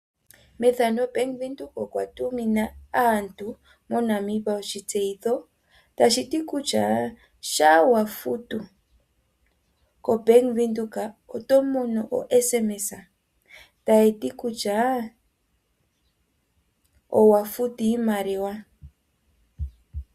Ombanga yaVenduka oya tumina aantu oshitseyitho kusha shampa wafutu kombaanga yaVenduka oto mono okatumwalaka takati kusha owatuma iimaliwa.